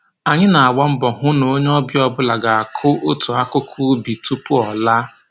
Anyị na-agba mbọ hụ n'onye ọbịa ọbụla ga-akụ otu akụkụ ubi tupu ọ laa